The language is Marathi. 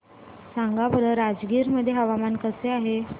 सांगा बरं राजगीर मध्ये हवामान कसे आहे